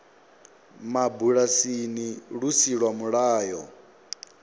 mabulasini lu si lwa mulayo